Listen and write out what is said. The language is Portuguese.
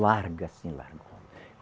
Larga assim, largona